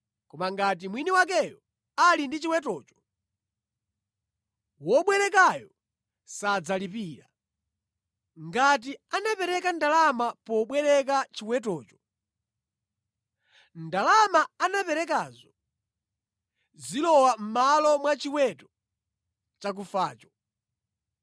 Koma ngati mwini wakeyo ali ndi chiwetocho, wobwerekayo sadzalipira. Ngati anapereka ndalama pobwereka chiwetocho, ndalama anaperekazo zilowa mʼmalo mwa chiweto chakufacho.